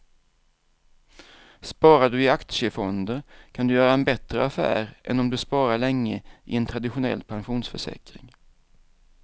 Sparar du i aktiefonder kan du göra en bättre affär än om du sparar länge i en traditionell pensionsförsäkring.